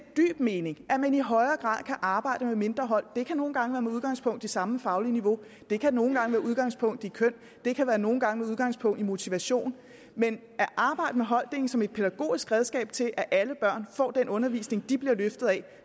dyb mening at man i højere grad kan arbejde med mindre hold det kan nogle gange være med udgangspunkt i samme faglige niveau det kan nogle gange være med udgangspunkt i køn det kan nogle gange udgangspunkt i motivation men at arbejde med holddeling som et pædagogisk redskab til at alle børn får den undervisning de bliver løftet af